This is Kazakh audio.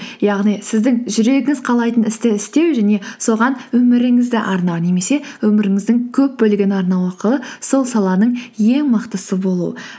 яғни сіздің жүрегіңіз қалайтын істі істеу және соған өміріңізді арнау немесе өміріңіздің көп бөлігін арнау арқылы сол саланың ең мықтысы болу